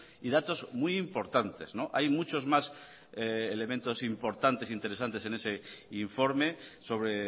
y datos muy importantes hay muchos más elementos importantes interesantes en ese informe sobre